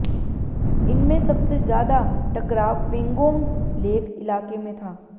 इनमें सबसे ज्यादा टकराव पेंगोंग लेक इलाके में था